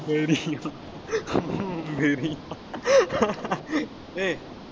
Maria oh Maria hey